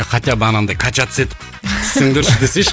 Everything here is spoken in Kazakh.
хотя бы анандай качаться етіп түссеңдерші десейші